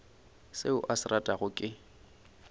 seo a se ratago ke